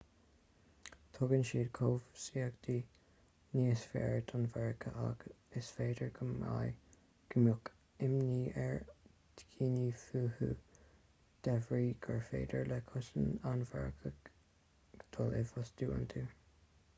tugann siad cobhsaíocht níos fearr don mharcach ach is féidir go mbeadh imní ar dhaoine fúthu de bhrí gur féidir le cosa an mharcaigh dul i bhfostú iontu